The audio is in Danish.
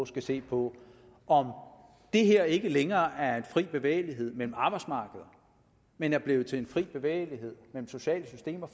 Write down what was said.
skal se på om det her ikke længere er en fri bevægelighed mellem arbejdsmarkeder men er blevet til en fri bevægelighed mellem sociale systemer